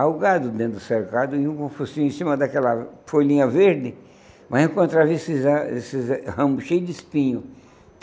Aí o gado dentro do cercado, ia com o focinho em cima daquela folhinha verde, mas encontrava esses eh esses eh ramos cheios de espinhos.